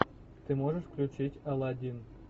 ты можешь включить алладин